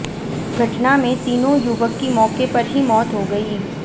घटना में तीनों युवक की मौके पर ही मौत हो गई